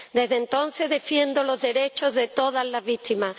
Desde entonces, defiendo los derechos de todas las víctimas.